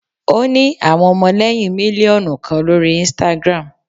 o ni awọn ọmọlẹyin miliọnu kan lori Instagram.